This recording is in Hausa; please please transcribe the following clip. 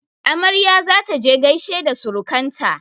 Amarya za ta je gaishe da surukan ta.